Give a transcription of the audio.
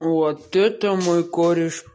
вот это мой кореш